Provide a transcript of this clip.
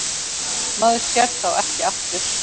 Maður sér þá ekki aftur.